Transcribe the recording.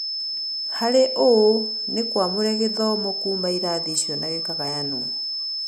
Harĩ ũũ, nĩkũaumire gĩthomo kuuma irathi icio na gĩkĩgayanwo.